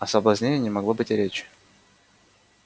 о соблазнении не могло быть и речи